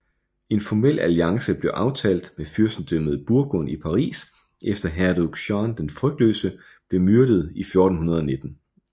En formel alliance blev aftalt med fyrstedømmet Burgund i Paris efter hertug Jean den frygtløse blev myrdet i 1419